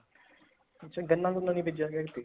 ਅੱਛਾ ਗੰਨਾ ਗੁੰਨਾ ਨੀ ਬੀਜਿਆ ਹੈਗਾ ਐਤਕੀ